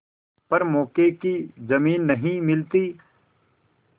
पर मौके की जमीन नहीं मिलती